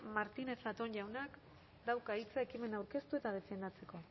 martínez zatón jaunak dauka hitza ekimena aurkeztu eta defendatzeko